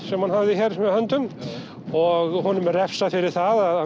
sem hann hafði hér með höndum og honum er refsað fyrir það